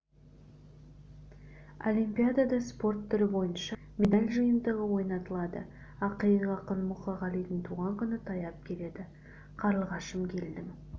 олимпиадада спорт түрі бойынша медаль жиынтығы ойнатылады ақиық ақын мұқағалидың туған күні таяп келеді қарлығашым келдің